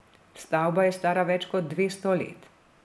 Stavba je stara več kot dvesto let.